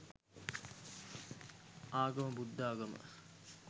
ආගම බුද්ධාගම